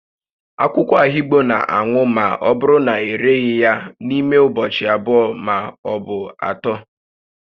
Akwụkwọ ahigbo na anwụma ọ bụrụ na ereghị ya n'ime ụbọchị abụọ ma ọ bụ atọ